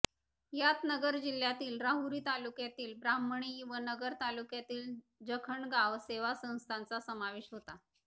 यात नगर जिल्ह्यातील राहुरी तालुक्यातील ब्राह्मणी व नगर तालुक्यातील जखणगाव सेवा संस्थांचा समावेश होता